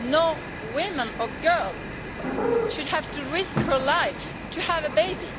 No woman or girl should have to risk her life to have a baby.